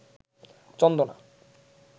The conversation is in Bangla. চন্দনা